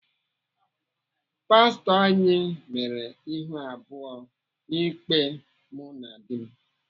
Pastọ anyị mere ihu abụọ n'ikpe mụ na di m.